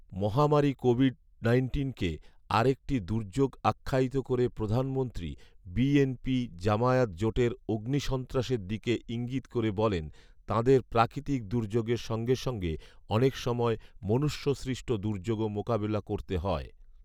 মহামারী COVID nineteen আরেকটি দুর্যোগ আখ্যায়িত করে প্রধানমন্ত্রী বিএনপি জামায়াত জোটের অগ্নিসন্ত্রাসের দিকে ইঙ্গিত করে বলেন, তাঁদের প্রাকৃতিক দুর্যোগের সঙ্গে সঙ্গে অনেক সময় মনুষ্যসৃষ্ট দুর্যোগও মোকাবেলা করতে হয়